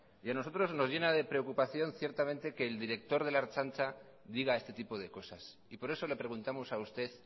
y a nosotros nos llena de preocupación ciertamente que el director de la ertzaintza diga este tipo de cosas y por eso le preguntamos a usted